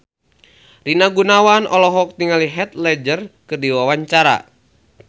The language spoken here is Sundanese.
Rina Gunawan olohok ningali Heath Ledger keur diwawancara